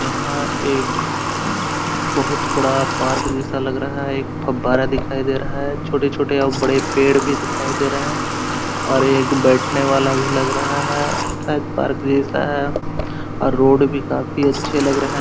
यहां एक बहुत बड़ा पार्क जैसा लग रहा है और बाहर एक फावड़ा दिखाई दे रहा है छोटे-छोटे और बड़े पेड़ भी दिखाई दे रहा है और एक बैठने वाला भी लग रहा है शायद पार्क जैसा है और रोड भी काफी अच्छे लग रहे हैं।